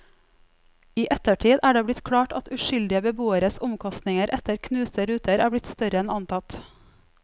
I ettertid er det blitt klart at uskyldige beboeres omkostninger etter knuste ruter er blitt større enn antatt.